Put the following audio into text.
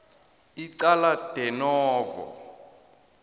icala de novo